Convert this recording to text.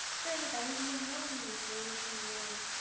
sir எனக்கு IBM தான் வேணும் sir. கொஞ்சம்